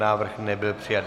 Návrh nebyl přijat.